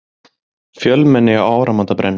Fjölmenni á áramótabrennum